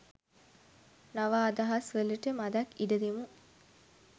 නව අදහස් වලට මදක් ඉඩ දෙමු